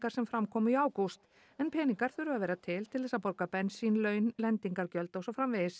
sem fram komu í ágúst en peningar þurfa að vera til til þess að borga bensín laun lendingargjöld og svo framvegis